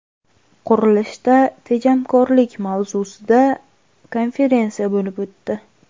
Qurilishda tejamkorlik” mavzusida konferensiya bo‘lib o‘tdi.